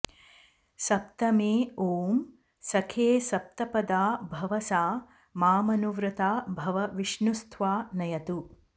सप्तमे ॐ सखे सप्तपदा भव सा मामनुव्रता भव विष्णुस्त्वा नयतु